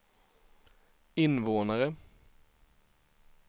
invånare